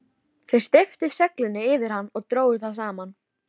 Þeir steyptu seglinu yfir hann og drógu það saman.